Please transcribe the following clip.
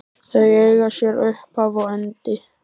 Þau eiga sér upphaf og endi.